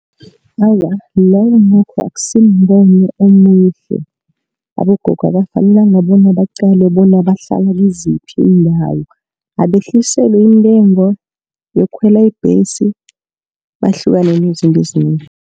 Awa lowo nokho akusimbono omuhle, abogogo abafanelanga bona baqalwe bona bahlala kiziphi iindawo, abehliselwe intengo yokukhwela ibhesi, bahlukane nezinto ezinengi.